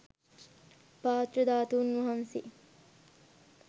පාත්‍ර ධාතුන් වහන්සේ